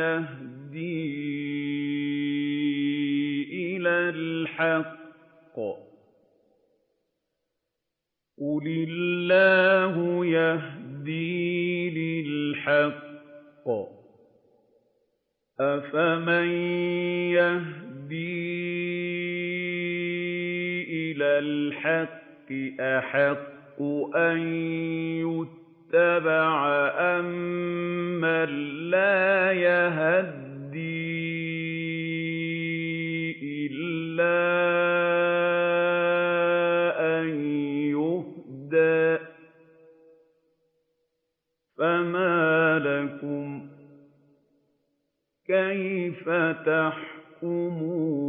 يَهْدِي إِلَى الْحَقِّ ۚ قُلِ اللَّهُ يَهْدِي لِلْحَقِّ ۗ أَفَمَن يَهْدِي إِلَى الْحَقِّ أَحَقُّ أَن يُتَّبَعَ أَمَّن لَّا يَهِدِّي إِلَّا أَن يُهْدَىٰ ۖ فَمَا لَكُمْ كَيْفَ تَحْكُمُونَ